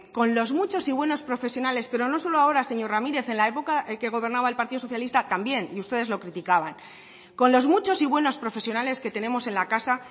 con los muchos y buenos profesionales pero no solo ahora señor ramírez en la época que gobernaba el partido socialista también y ustedes lo criticaban con los muchos y buenos profesionales que tenemos en la casa